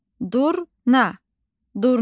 Durna, durna.